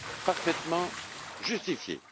parfaitement justifiées.